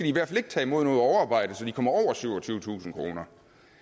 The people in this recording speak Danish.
i hvert fald ikke tage imod noget overarbejde så de kommer over syvogtyvetusind kroner